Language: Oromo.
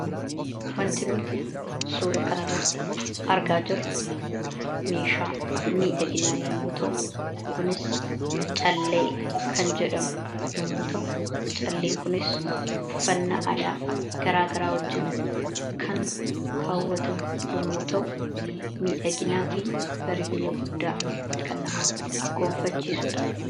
wanti nuti suura kan irratti argaa jirru meeshaa miidhaginaa yommuu ta'u kunis callee kan jedhamu yommu ta'u calleen kunis uffannaa aadaa garaa garaa wajjiin kan kaawwatamu yommuu ta'u miidhaginnaa fi bareedina guddaa kan nama gonfachiisudha.